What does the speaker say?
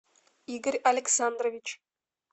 игорь александрович